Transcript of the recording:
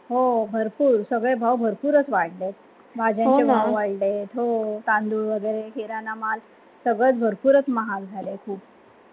हो भरपूर सगळे भाव भरपूर वाडले भाजायनचे भाव वाडले तांदूळ वगैरे किराणा माल सगळे भरपूर महाग झाले खुब